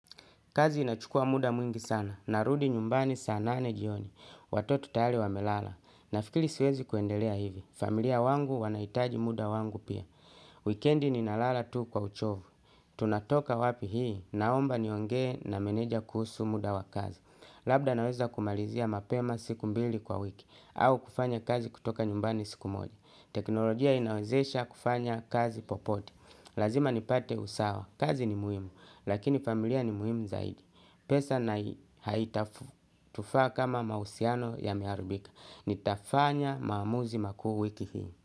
Kazi inachukua muda mwingi sana. Narudi nyumbani saa nane jioni. Watoto tayali wamelala. Nafikili siwezi kuendelea hivi. Familia wangu wanahitaji muda wangu pia. Wikendi ninalala tu kwa uchovu. Tunatoka wapi hii. Naomba niongee na meneja kuhusu muda wa kazi. Labda naweza kumalizia mapema siku mbili kwa wiki. Au kufanya kazi kutoka nyumbani siku moja. Teknolojia inawezesha kufanya kazi popote. Lazima nipate usawa, kazi ni muhimu, lakini familia ni muhimu zaidi. Pesa na haitafu, tufaa kama mahusiano yameharibika. Nitafanya maamuzi makuu wiki hii.